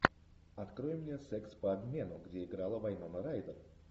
открой мне секс по обмену где играла вайнона райдер